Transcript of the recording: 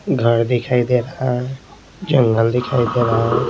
घर दिखाई दे रहा है जंगल दिखाई दे रहा है।